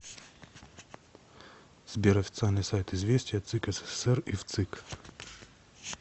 сбер официальный сайт известия цик ссср и вцик